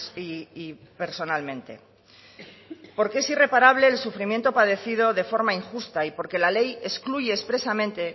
y personalmente porque es irreparable el sufrimiento padecido de forma injusta y porque la ley excluye expresamente